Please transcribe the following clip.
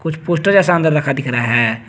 कुछ पोस्टर जैसा रखा हुआ दिख रहा है।